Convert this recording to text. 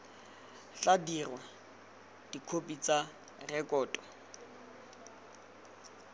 tla dirwa dikhopi tsa rekoto